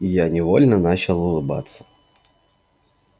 я невольно начал улыбаться